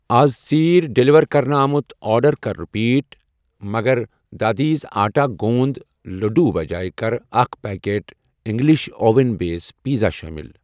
اَز ژیٖرۍ ڈیلیور کرنہٕ آمُت آرڈر کر رِپیٖٹ مگر دادیٖز آٹا گونٛد لٔڈوٗ بجایہ کر اکھ packet English oven base pizza شٲمِل۔